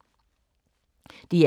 DR K